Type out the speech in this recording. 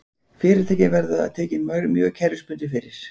Fyrirtækin verða tekin mjög kerfisbundið fyrir